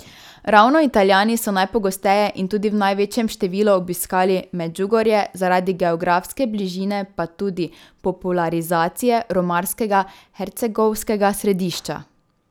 Ravno Italijani so najpogosteje in tudi v največjem številu obiskovali Medžugorje, zaradi geografske bližine pa tudi popularizacije romarskega hercegovskega središča.